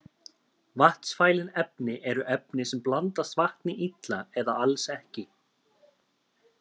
Vatnsfælin efni eru efni sem blandast vatni illa eða alls ekki.